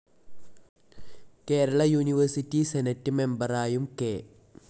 Kerala university senate മെമ്പറായും K.